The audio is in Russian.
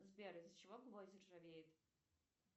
сбер из за чего гвозди ржавеют